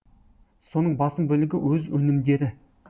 соның басым бөлігі өз өнімдері